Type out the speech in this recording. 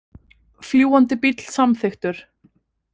Fljúgandi bíll samþykktur